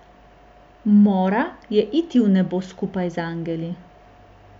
Mora je iti v nebo skupaj z angeli.